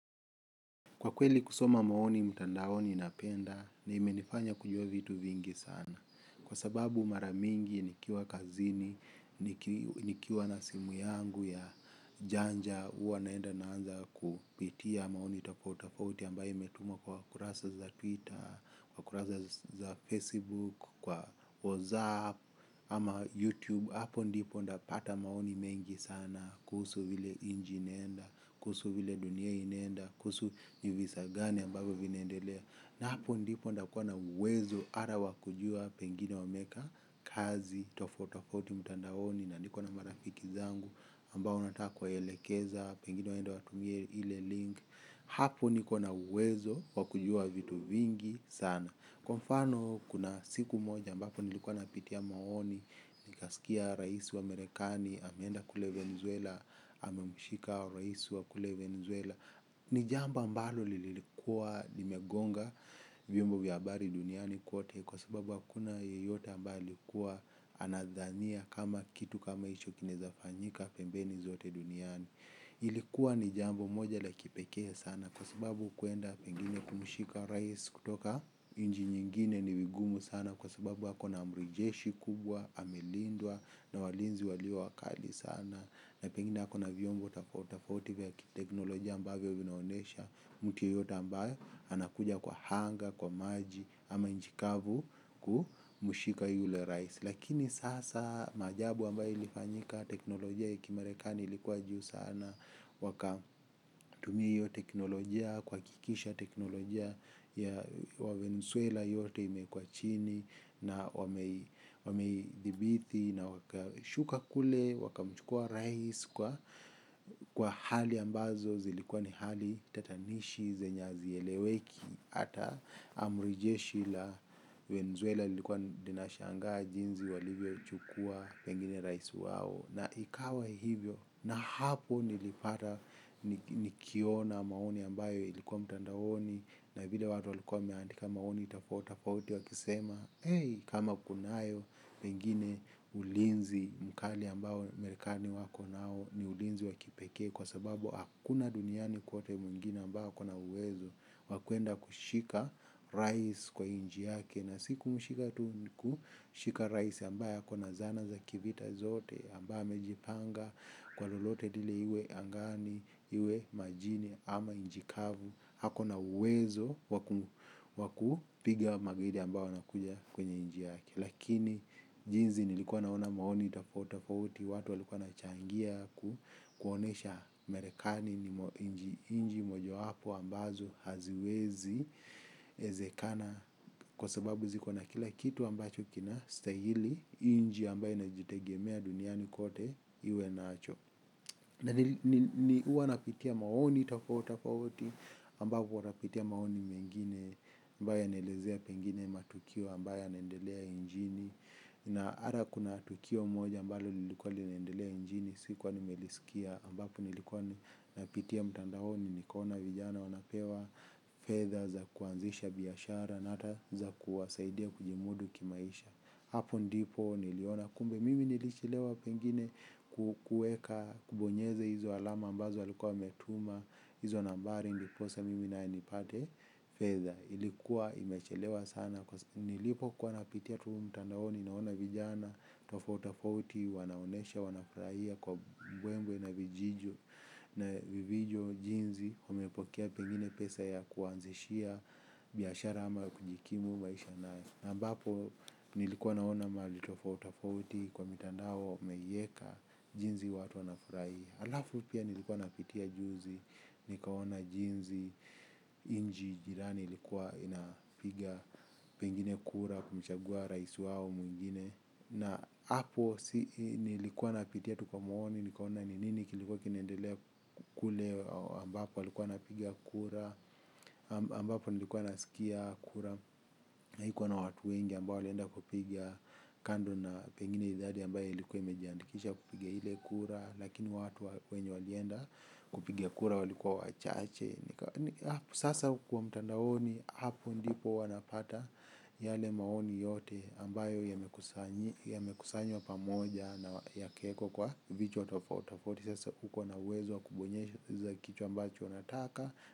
Kwa kweli kusoma maoni mtandaoni napenda na imenifanya kujua vitu vingi sana. Kwa sababu maramingi nikiwa kazini, nikiwa nasimu yangu ya janja uwa naenda naanza kupitia maoni tafotafauti ambaye imetumwa kwa kurasa za Twitter, kwa kurasa za Facebook, kwa WhatsApp ama YouTube. Hapo ndipo ndapata maoni mengi sana, kuhusu vile injinenda, kuhusu vile dunia inenda, kuhusu ni visa gani ambavo vinendelea. Na hapo ndipo nitakua uwezo ata wakujua pengine wameeka kazi, tofauti tofauti mtandaoni na nikona marafiki zangu ambao nataka kuwaelekeza, pengine waende watumie ile link. Hapo niko na uwezo wakujua vitu vingi sana. Kwa mfano, kuna siku moja ambapo nilikuwa napitia maoni, nikasikia rais wamerikani, ameenda kule Venezuela, amemshika rais wa kule Venezuela. Ni jambo ambalo lilikuwa limegonga vyombo vya habari duniani kwote kwa sababu hakuna yeyote ambaye alikua anadhania kama kitu kama hicho kinaeza fanyika pembeni kwote duniani. Ilikuwa ni jambo moja la kipekee sana kwa sababu kuenda pengine kumshika rais kutoka nchi nyingine ni vigumu sana kwa sababu ako na amri jeshi kubwa, amelindwa na walinzi walio wakali sana. Na pengine wako na vyombo tofauti tofauti vya kiteknolojia ambavyo vinavyoonyesha mtu yeyote ambaye anakuja kwa anga, kwa maji ama nchi kavu kumshika yule rais. Lakini sasa maajabu ambayo ilifanyika teknolojia ya kimarekani ilikuwa juu sana. Wakatumia hiyo teknolojia kwa hakikisha teknolojia ya wawenzuela yote imekwa chini. Na wameidhibiti na wakashuka kule wakamchukua rais. Kwa hali ambazo zilikuwa ni hali tatanishi zenye hazieleweki. Hata amurijeshi la wenzuela ilikuwa dinashangaa jinzi walivyo chukua pengine raisu wao. Na ikawa hivyo, na hapo nilipata. Nikiona maoni ambayo ilikuwa mtandaoni, na vile watu waliku wameandika maoni tofauti tofauti wakisema, hey, kama kunayo, pengine ulinzi mkali ambao Marekani wako nao ni ulinzi wa kipekee, kwa sababu hakuna duniani kwote mwingine ambao akona uwezo, wa kuenda kushika rais kwa nchi yake na sikumshika tu ni kushika rais ambaye akona zana za kivita zote ambaye amejipanga kwa lolote lile iwe angani, iwe majini ama nchi kavu ako na uwezo wakupiga magaidi ambao wanakuja kwenye nchi yake. Lakini jinsi nilikuwa naona maoni tofauti tofauti, watu walikuwa wanachangia kuonyesha Marekani ni nchi moja wapo ambazo haziwezi ezekana kwa sababu zikona kila kitu ambacho kina stahili nchi ambayo inajitegemea duniani kote iwe nacho. Huwa napitia maoni tofauti tofauti ambapo napitia maoni mengine ambayo yanaelezea pengine matukio ambayo yanaendelea nchini. Na ata kuna tukio moja ambalo lilikuwa limeendelea nchini sikuwa nimelisikia ambapo nilikuwa napitia mtandaoni nikaona vijana wanapewa fedha za kuanzisha biashara na ata za kuwasaidia kujimudu kimaisha. Hapo ndipo niliona kumbe mimi nilichelewa pengine kueka kubonyeze izo alama ambazo alikuwa ametuma hizo nambari ndiposa mimi nae nipate fedha, ilikuwa imechelewa sana nilipokuwa napitia tu mtandaoni naona vijana tofauti tofauti wanaonyesha wanafurahia kwa mbwembwe na vivyo jinsi wamepokea pengine pesa ya kuanzishia biashara ama kujikimu maisha na ambapo nilikuwa naona mahali tofauti tofauti kwa mitandao wameiweka jinsi watu wanafurahia alafu pia nilikuwa napitia juzi nikaona jinsi nchi jirani ilikuwa inapiga pengine kura kumchagua rais wao mwingine na hapo nilikuwa napitia tu kwa maoni nikaona ni nini kilikuwa kinaendelea kule ambapo walikuwa wanapigia kura, ambapo walikuwa nasikia kura, na haikuwa na watu wengi ambao walienda kupiga kando na pengine idadi ambayo ilikuwa imejiandikisha kupigia ile kura, lakini watu wenye walienda kupiga kura walikuwa wachache. Sasa kwa mtandaoni hapo ndipo wanapata yale maoni yote ambayo yamekusanywa pamoja na yakaekwa kwa vichwa tofauti tofauti sasa ukona uwezo wa kubonyezesha ile kitu ambacho unataka.